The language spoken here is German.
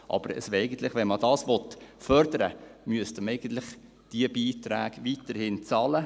Wenn man das aber fördern will, müssten wir eigentlich diese Beiträge weiterhin zahlen.